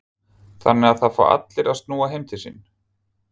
Þannig að það fá allir að snúa heim til sín?